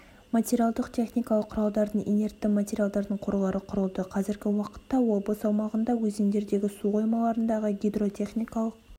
материалдық техникалық құралдардың инертті материалдардың қорлары құрылды қазіргі уақытта облыс аумағында өзендердегі су қоймаларындағы гидротехникалық